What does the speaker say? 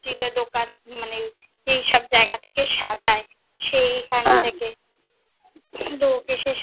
লোক এসেছিলো দোকান, মানে যেই সব জায়গা থেকে সাজায়, সেইখান থেকে।